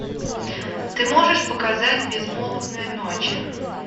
ты можешь показать безмолвная ночь